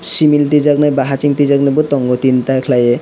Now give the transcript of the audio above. civil rijaknai bai hasing twijaknai bo tongo teenta khwlaiui.